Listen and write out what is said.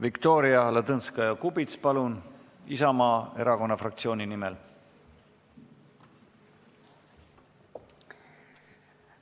Viktoria Ladõnskaja-Kubits, palun, Isamaa erakonna fraktsiooni nimel!